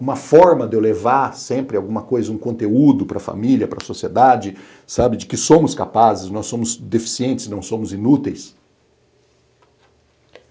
uma forma de eu levar sempre alguma coisa, um conteúdo para a família, para a sociedade, sabe, de que somos capazes, nós somos deficientes, não somos inúteis.